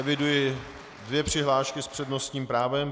Eviduji dvě přihlášky s přednostním právem.